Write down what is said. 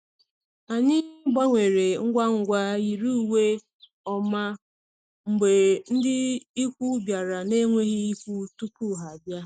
Anyị gbanwere ngwa ngwa yiri uwe ọma mgbe ndị ikwu bịara na-enweghị ikwu tupu ha abịa.